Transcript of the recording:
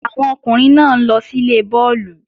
Àwọn ọkùnrin náà ń lọ síle bọ́ọ̀lù